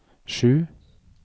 sju